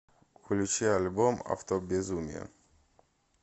включи альбом автобезумие